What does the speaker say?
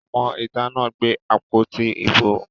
Ọmọ ìta náà gbé àpótí ìbò